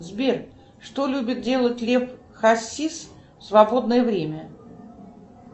сбер что любит делать лев хасис в свободное время